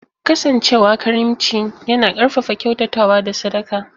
Kasancewa karimci yana ƙarfafa kyautatawa da sadaka.